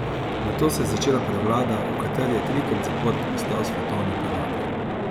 Nato se je začela prevlada, v kateri je trikrat zapored postal svetovni prvak.